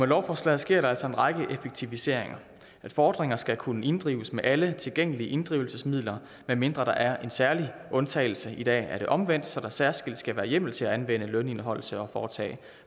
lovforslaget sker der altså en række effektiviseringer fordringer skal kunne inddrives med alle tilgængelige inddrivelsesmidler medmindre der er en særlig undtagelse i dag er det omvendt så der særskilt skal være hjemmel til at anvende lønindeholdelse og foretage